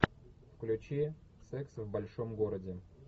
включи секс в большом городе